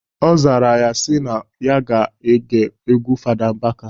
Ọ zara ya sị na ya ga-ege egwu Fada Mbaka.